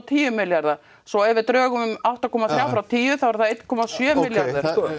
tíu milljarða svo ef við drögum átta komma þrjú frá tíu þá er það eitt komma sjö milljarður